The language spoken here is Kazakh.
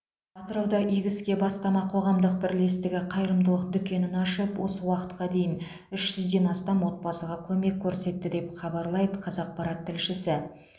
атырауда игі іске бастама қоғамдық бірлестігі қайырымдылық дүкенін ашып осы уақытқа дейін үш жүзден астам отбасыға көмек көрсетті деп хабарлайды қазақпарат тілшісі